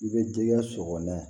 I bɛ digi sɔgɔlan